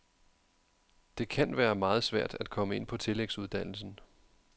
Det kan være meget svært at komme ind på tillægsuddannelsen.